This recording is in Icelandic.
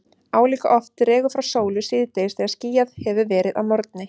Álíka oft dregur frá sólu síðdegis þegar skýjað hefur verið að morgni.